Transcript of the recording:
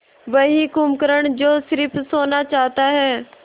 वही कुंभकर्ण जो स़िर्फ सोना चाहता है